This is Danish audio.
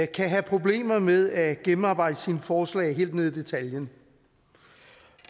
kan have problemer med at gennemarbejde sine forslag helt ned i detaljen